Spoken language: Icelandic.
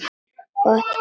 Gott kvöld, Sunna.